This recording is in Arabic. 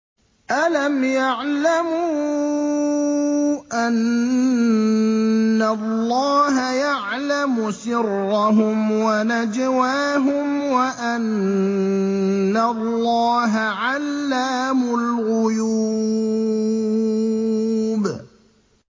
أَلَمْ يَعْلَمُوا أَنَّ اللَّهَ يَعْلَمُ سِرَّهُمْ وَنَجْوَاهُمْ وَأَنَّ اللَّهَ عَلَّامُ الْغُيُوبِ